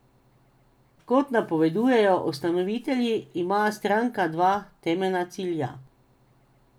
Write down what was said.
Kot napovedujejo ustanovitelji, ima stranka dva temeljna cilja.